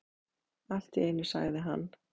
Allt í einu sagði hann